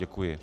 Děkuji.